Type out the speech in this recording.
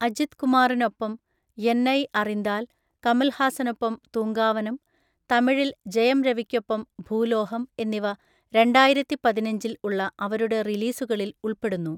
അജിത് കുമാറിനൊപ്പം യെന്നൈ അറിന്താൽ, കമൽഹാസനൊപ്പം തൂങ്കാവനം, തമിഴിൽ ജയം രവിയ്‌ക്കൊപ്പം ഭൂലോഹം എന്നിവ രണ്ടായിരത്തിപതിനഞ്ചിൽ ഉള്ള അവരുടെ റിലീസുകളിൽ ഉൾപ്പെടുന്നു.